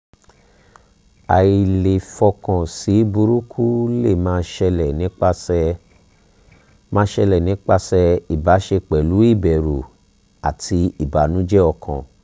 ailefiokan si buruku le ma sele nipase ma sele nipase ibase pelu iberu ati ibanuje okan